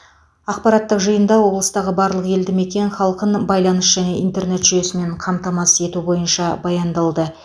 ақпараттық жиында облыстағы барлық елдімекен халқын байланыс және интернет жүйесімен қамтамасыз ету бойынша баяндалды